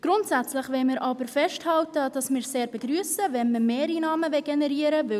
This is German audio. Grundsätzlich wollen wir festhalten, dass wir es sehr begrüssen, wenn Mehreinnahmen generiert werden.